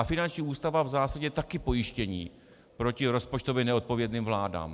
A finanční ústava v zásadě je taky pojištění proti rozpočtově neodpovědným vládám.